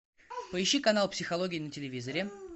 поищи канал психология на телевизоре